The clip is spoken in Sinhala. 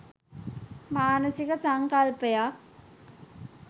මානසික සංකල්පයක්.